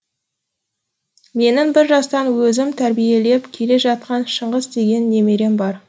менің бір жастан өзім тәрбиелеп келе жатқан шыңғыс деген немерем бар